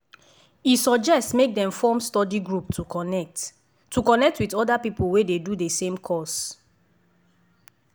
e suggest make dem form study group to connect to connect with other people wey dey do the same course.